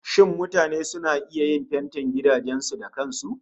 Shin mutane suna iya yin fentin gidajen su da kan su?